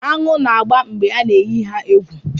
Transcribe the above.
Aṅụ na-agba mgbe a na-eyi ha egwu